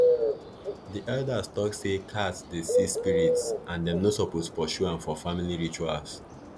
the elders tok say cats dey see spirits and them no suppose pursue am for family rituals